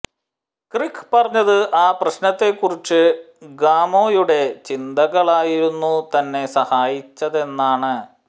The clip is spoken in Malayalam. ക്രിക്ക് പറഞ്ഞത് ആ പ്രശ്നത്തെക്കുറിച്ച് ഗാമോയുടെ ചിന്തകളായിരുന്നു തന്നെ സഹായിച്ചതെന്നാണ്